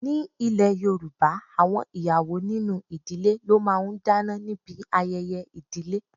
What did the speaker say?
Ní ilè Yorùbá, àwọn ìyàwó nínú ìdílé ló máa ń dáná níbi ayẹyẹ ìdílé.